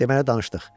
Deməli danışdıq.